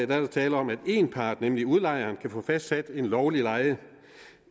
der tale om at én part nemlig udlejeren kan få fastsat en lovlig leje